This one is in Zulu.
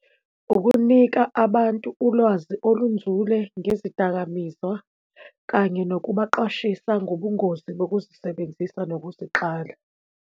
Ukunika abantu ulwazi olunzule ngezidakamizwa, kanye nokubaqwashisa ngobungozi bokuzisebenzisa nokuziqala.